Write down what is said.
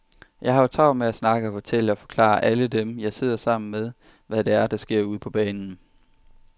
Jeg har jo travlt med at snakke og fortælle og forklare alle dem, jeg sidder sammen med, hvad det er, der sker ude på banen.